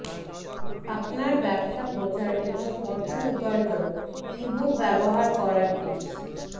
আপনার ব্যবসা প্রচার এবং অর্থ উপার্জন ইবুক ব্যবহার করার টিপস